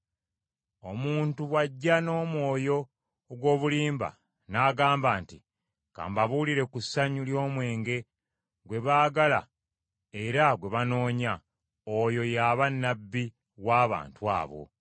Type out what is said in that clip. Omuntu bw’ajja n’omwoyo ogw’obulimba, n’agamba nti, “Ka mbabuulire ku ssanyu ly’omwenge gwe baagala era gwe banoonya,” oyo y’aba nnabbi w’abantu abo.